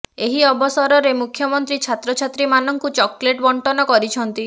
ଏହି ଅବସରରେ ମୁଖ୍ୟମନ୍ତ୍ରୀ ଛାତ୍ରଛାତ୍ରୀ ମାନଙ୍କୁ ଚକେଲଟ୍ ବଣ୍ଟନ କରିଛନ୍ତି